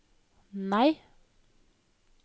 nei